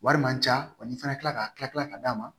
Wari man ca wa n'i fana kilala ka tila ka d'a ma